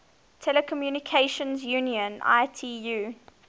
telecommunication union itu